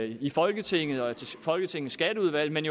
i folketinget og i folketingets skatteudvalg men